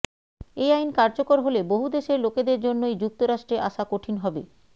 এ আইন কার্যকর হলে বহু দেশের লোকেদের জন্যই যুক্তরাষ্ট্রে আসা কঠিন হবে